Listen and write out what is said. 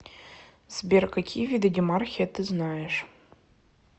сбер какие виды демархия ты знаешь